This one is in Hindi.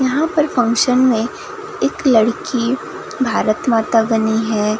यहां पर फंक्शन में एक लड़की भारत माता बनी है।